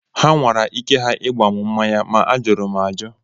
Ha nwara ike ha ịgba m mmanya maa ajụrụ m ajụ